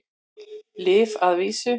Lyf að vísu.